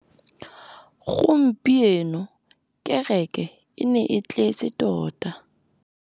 Gompieno kêrêkê e ne e tletse tota.